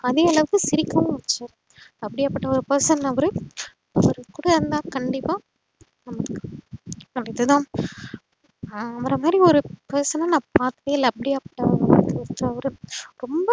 அதே அளவுக்கு சிரிக்கவும் வச்சாங்க அப்டியாப்பட்ட person அவரு கண்டிப்பா அவரமாறி ஒரு person அஹ் நா பாத்ததே இல்ல அப்டியாப்பட்ட person அவர் ரொம்ப